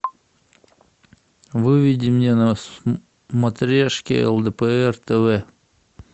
выведи мне на смотрешке лдпр тв